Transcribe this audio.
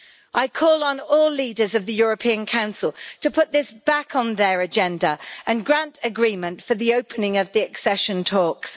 I call on all leaders of the European Council to put this back on their agenda and grant agreement for the opening of the accession talks.